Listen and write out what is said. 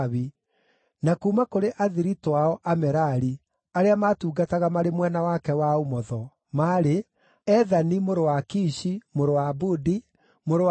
na kuuma kũrĩ athiritũ ao, Amerari, arĩa maatungataga marĩ mwena wake wa ũmotho, maarĩ: Ethani mũrũ wa Kishi, mũrũ wa Abudi, mũrũ wa Maluku,